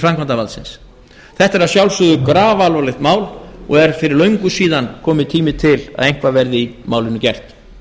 framkvæmdarvaldsins þetta er að sjálfsögðu grafalvarlegt mál og er fyrir löngu síðan kominn tími til að eitthvað verði í málinu gert